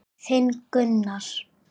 Þinn, Gunnar.